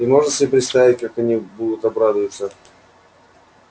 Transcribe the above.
и можно себе представить как они будут обрадуются